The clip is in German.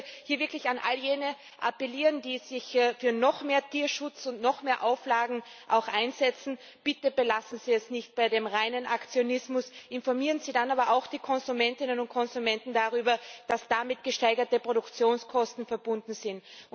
Ich möchte hier wirklich an all jene appellieren, die sich für noch mehr Tierschutz und noch mehr Auflagen einsetzen Bitte belassen Sie es nicht bei dem reinen Aktionismus, informieren Sie die Konsumentinnen und Konsumenten auch darüber, dass damit gesteigerte Produktionskosten verbunden sind.